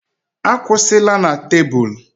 Akwụsịla na tebụl!